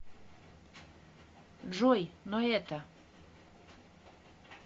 джой но это